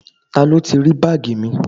Ta ló ti rí báàgì mi?